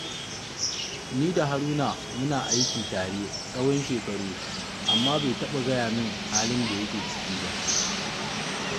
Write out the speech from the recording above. Ni da Haruna muna aiki tare tsawon shekaru, amma bai taɓa gaya min halin da yake ciki ba